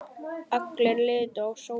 Allir litu á Sólu.